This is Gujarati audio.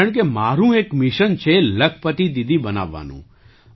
કારણકે મારું એક મિશન છે લખપતિ દીદી બનાવવાનું